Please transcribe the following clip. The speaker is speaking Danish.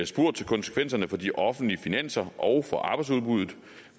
spurgt til konsekvenserne for de offentlige finanser og for arbejdsudbuddet